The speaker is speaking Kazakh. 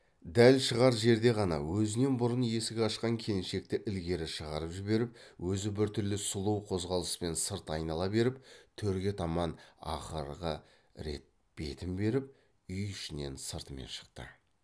дәл шығар жерде ғана өзінен бұрын есік ашқан келіншекті ілгері шығарып жіберіп өзі біртүрлі сұлу қозғалыспен сырт айнала беріп төрге таман ақырғы рет бетін беріп үй ішінен сыртымен шықты